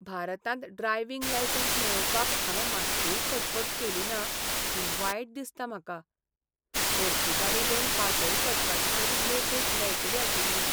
भारतांत driving licence मेळोवपाक हांवें मात्तूय खटपट केली ना म्हूण वायट दिसता म्हाका. घरची गाडी घेवन पासयेक वचपाची तरी मेकळीक मेळटलीआशिल्ली.